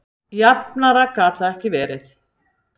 Jafnara gat það ekki verið